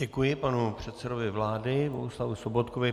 Děkuji panu předsedovi vlády Bohuslavu Sobotkovi.